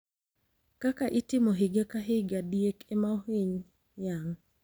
Kaka itimo higa ka higa, diek ema ohiny yang`.